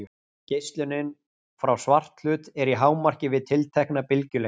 Geislunin frá svarthlut er í hámarki við tiltekna bylgjulengd.